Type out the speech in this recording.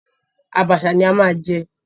Àbàṣà ni a máa jẹ.